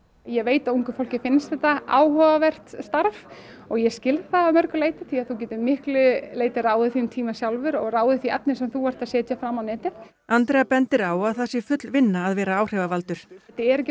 ég veit að ungu fólki finnst þetta áhugavert starf og ég skil það að mörgu leyti því þú getur miklu leyti ráðið þínum tíma sjálfur og ráðið því efni sem þú ert að setja fram á netið Andrea bendir á að það sé full vinna að vera áhrifavaldur þetta er ekki